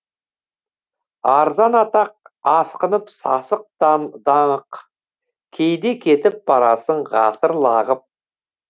арзан атақ асқынып сасық даңық қайда кетіп барасың ғасыр лағып